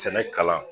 Sɛnɛ kalan